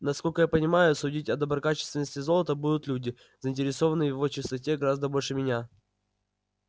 насколько я понимаю судить о доброкачественности золота будут люди заинтересованные в его чистоте гораздо больше меня